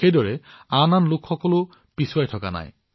একেদৰে সমাজৰ আন লোকসকল এই মুহূৰ্তত এনেয়ে থকা নাই